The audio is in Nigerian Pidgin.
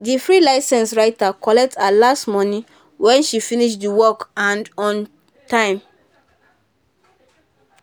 the free licence writer collect her last money when she finish the work and on time.